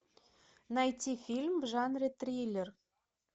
найти фильм в жанре триллер